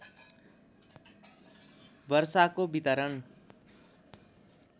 वर्षाको वितरण